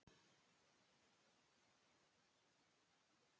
Samt þykir honum vænt um strákinn.